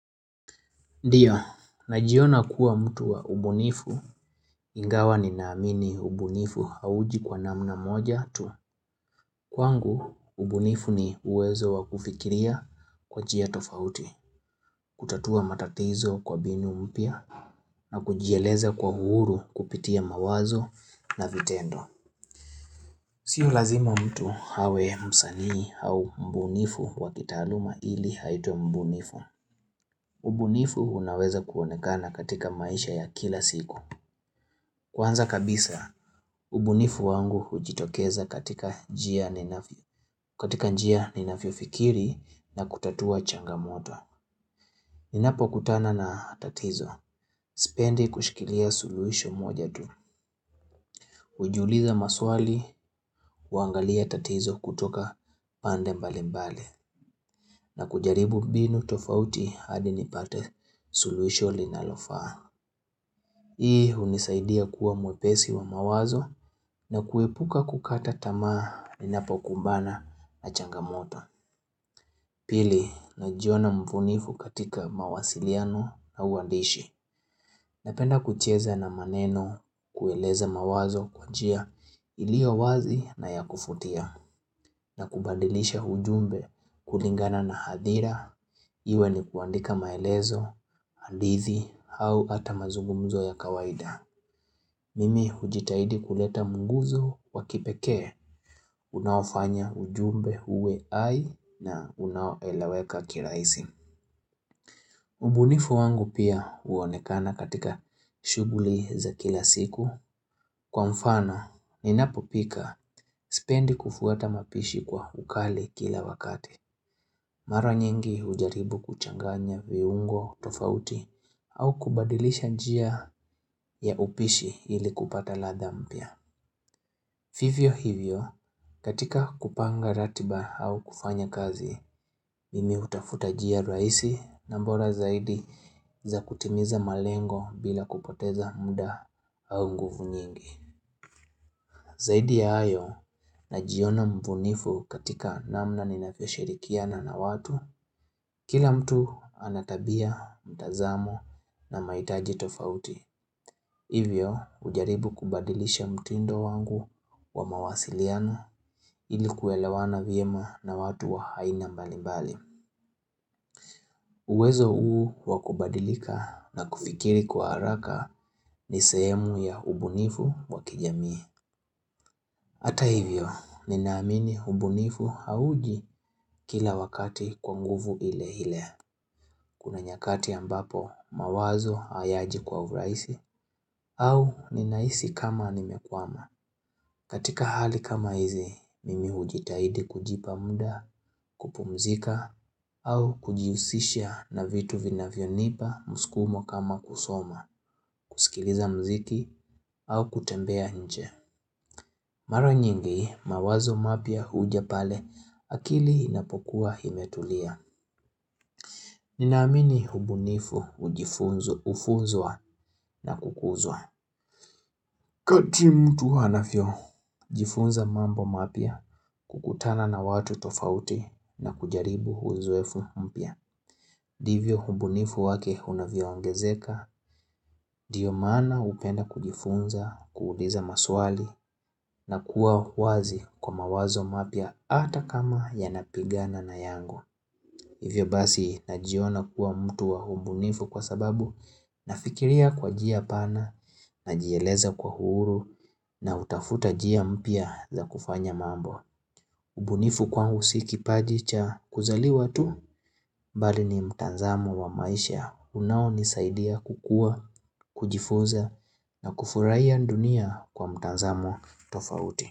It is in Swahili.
Ndiyo, najiona kuwa mtu wa ubunifu ingawa ninaamini ubunifu hauji kwa namna moja tu. Kwangu ubunifu ni uwezo wa kufikiria kwa njia tofauti. Kutatua matatizo kwa binu mpya na kujieleza kwa uhuru kupitia mawazo na vitendo. Sio lazima mtu awe msanii au mbunifu wa kitaaluma ili aitwe mbunifu ubunifu unaweza kuonekana katika maisha ya kila siku. Kwanza kabisa, ubunifu wangu ujitokeza katika njia ninafyofikiri na kutatua changamoto. Ninapokutana na tatizo spendi kushikilia suluhisho moja tu. Ujiuliza maswali, uangalia tatizo kutoka pande mbali mbali na kujaribu binu tofauti hadi nipate suluhisho linalofaa. Hii unisaidia kuwa mwepesi wa mawazo na kuepuka kukata tamaa ninapokumbana na changamoto. Pili, najiona mfunifu katika mawasiliano au uandishi. Napenda kucheza na maneno, kueleza mawazo kwa njia iliyo wazi na ya kufutia. Na kubandilisha ujumbe kulingana na hadhira iwe ni kuandika maelezo, handithi au ata mazugumzo ya kawaida Mimi ujitahidi kuleta mguzo wa kipekee unaofanya ujumbe uwe hai na unaoeleweka kiraisi. Ubunifu wangu pia uonekana katika shuguli za kila siku kwa mfano, ninapopika spendi kufuata mapishi kwa ukali kila wakati. Mara nyingi hujaribu kuchanganya viungo tofauti au kubadilisha njia ya upishi ili kupata ladha mpya. Vivyo hivyo, katika kupanga ratiba au kufanya kazi, mimi utafuta jia raisi na mbora zaidi za kutimiza malengo bila kupoteza mda au nguvu nyingi. Zaidi ya hayo najiona mbunifu katika namna ninafyoshirikiana na watu, kila mtu ana tabia, mtazamo na maitaji tofauti. Hivyo, ujaribu kubadilisha mtindo wangu wa mawasiliano ili kuelewana vyema na watu wa aina mbalimbali. Uwezo huu wa kubadilika na kufikiri kwa haraka ni sehemu ya ubunifu wa kijamii. Hata hivyo, ninaamini ubunifu hauji kila wakati kwa nguvu ile ile. Kuna nyakati ambapo mawazo hayaji kwa uraisi au ninahisi kama nimekwama katika hali kama hizi, mimi ujitahidi kujipa muda, kupumzika, au kujihusisha na vitu vinavyonipa mskumo kama kusoma, kusikiliza mziki, au kutembea nje. Mara nyingi, mawazo mapya huja pale akili inapokuwa imetulia. Ninaamini ubunifu ujifunzo ufunzwa na kukuzwa. Kati mtu anafyojifunza mambo mapya kukutana na watu tofauti na kujaribu uzoefu mpya. Divyo umbunifu wake unavyoongezeka, diyo maana upenda kujifunza, kuuliza maswali na kuwa wazi kwa mawazo mapya ata kama yanapigana na yangu. Hivyo basi najiona kuwa mtu wa umbunifu kwa sababu nafikiria kwa jia pana, najieleza kwa uhuru na utafuta jia mpya za kufanya mambo. Ubunifu kwangu si kipaji cha kuzaliwa tu bali ni mtanzamo wa maisha unaonisaidia kukua, kujifuza na kufurahia dunia kwa mtanzamo tofauti.